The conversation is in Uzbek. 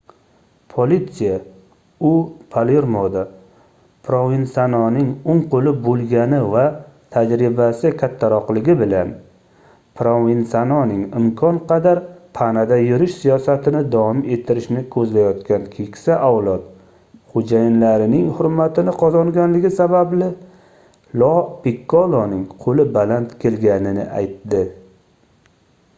politsiya u palermoda provensanoning oʻng qoʻli boʻlgani va tajribasi kattaroqligi bilan provensanoning imkon qadar panada yurish siyosatini davom ettirishni koʻzlayotgan keksa avlod xoʻjayinlarining hurmatini qozongani sababli lo pikkoloning qoʻli baland kelganini aytdi